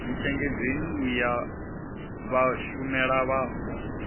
ntshengedzeni u ya ha vhashumelavhapo